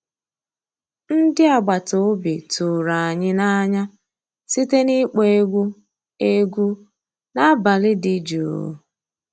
Ndị́ àgbàtà òbí tụ̀rụ̀ ànyị́ n'ànyá síté n'ị́kpọ́ égwu égwu n'àbàlí dị́ jụ́ụ́.